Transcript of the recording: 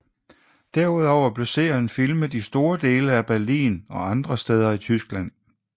Derudover blev serien filmen i store dele af Berlin og andre steder i Tyskland